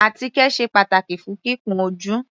Àtíkè sé pàtàkì fún kíkun ojú.